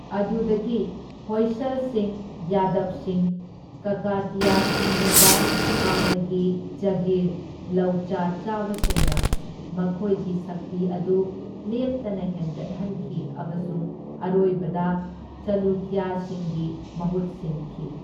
ꯑꯗꯨꯗꯒꯤ ꯍꯣꯏꯁꯜꯁꯤꯡ, ꯌꯥꯗꯕꯁꯤꯡ, ꯀꯀꯇꯤꯌꯥꯁꯤꯡꯒꯨꯝꯕ ꯍꯥꯟꯅꯒꯤ ꯖꯥꯒꯤꯔ ꯂꯧꯆꯥ ꯆꯥꯕꯁꯤꯡꯅ ꯃꯈꯣꯏꯒꯤ ꯁꯛꯇꯤ ꯑꯗꯨ ꯂꯦꯞꯇꯅ ꯍꯦꯟꯒꯠꯍꯟꯈꯤ ꯑꯃꯁꯨꯡ ꯑꯔꯣꯏꯕꯗ ꯆꯥꯂꯨꯀ꯭ꯌꯁꯤꯡꯒꯤ ꯃꯍꯨꯠ ꯁꯤꯟꯈꯤ꯫